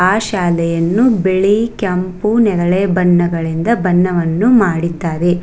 ಆ ಶಾಲೆಯನ್ನು ಬಿಳಿ ಕೆಂಪು ನೇರಳೆ ಬಣ್ಣಗಳಿಂದ ಬಣ್ಣವನ್ನು ಮಾಡಿದ್ದಾರೆ.